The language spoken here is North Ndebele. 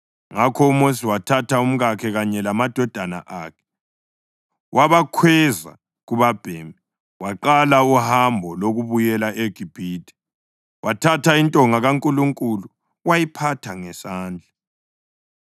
Ngakho uMosi wathatha umkakhe kanye lamadodana akhe, wabakhweza kubabhemi waqala uhambo lokubuyela eGibhithe. Wathatha intonga kaNkulunkulu wayiphatha ngesandla.